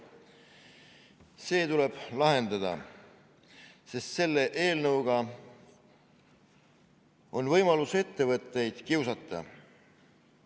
See olukord tuleb lahendada, sest selle eelnõuga on võimalus ettevõtteid kiusata.